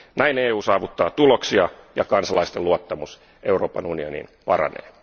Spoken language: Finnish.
Näin EU saavuttaa tuloksia ja kansalaisten luottamus Euroopan unioniin paranee.